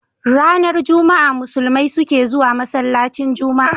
Ranar juma a musulmai sukezuwa masalacin juma a